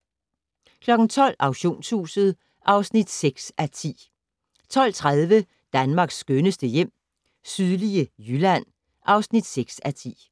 12:00: Auktionshuset (6:10) 12:30: Danmarks skønneste hjem - sydlige Jylland (6:10)